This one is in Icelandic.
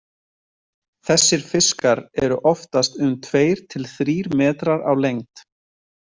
Þessir fiskar eru oftast um tveir til þrír metrar á lengd.